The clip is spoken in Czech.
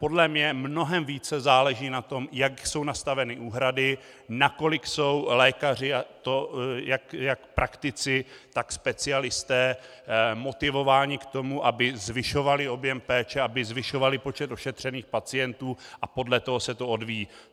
Podle mě mnohem více záleží na tom, jak jsou nastaveny úhrady, nakolik jsou lékaři, a to jak praktici, tak specialisté, motivováni k tomu, aby zvyšovali objem péče, aby zvyšovali počet ošetřených pacientů, a podle toho se to odvíjí.